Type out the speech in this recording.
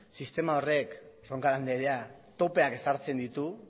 sistema horrek roncal andrea topeak ezartzen ditu